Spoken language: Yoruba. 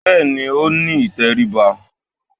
Bẹ́ẹ̀ni, ó ní ìtẹríba